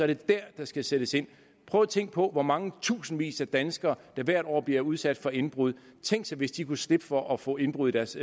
det dér der skal sættes ind prøv at tænke på hvor mange tusindvis af danskere der hvert år bliver udsat for indbrud tænk sig hvis de kunne slippe for at få indbrud i deres